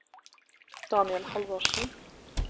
Daniel Halvorsen